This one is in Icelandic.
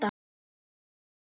Elsku Magga.